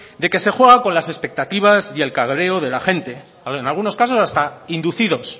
de que se juega con las expectativas y el cabreo de la gente en algunos casos hasta inducidos